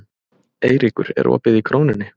Eyríkur, er opið í Krónunni?